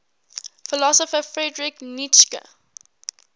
philosopher friedrich nietzsche